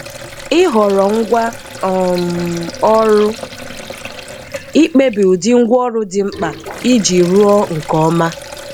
Ihọrọ ngwa um ọrụ ,ikpebi ụdị ngwaọrụ di mkpa ịjị rụo nke ọma.